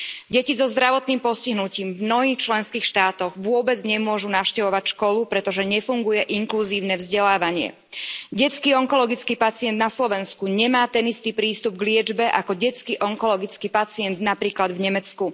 Deti so zdravotným postihnutím v mnohých členských štátoch vôbec nemôžu navštevovať školu, pretože nefunguje inkluzívne vzdelávanie. Detský onkologický pacient na Slovensku nemá ten istý prístup k liečbe ako detský onkologický pacient napríklad v Nemecku.